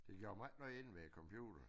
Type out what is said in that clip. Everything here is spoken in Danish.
Det gjorde mig ikke noget inde ved computeren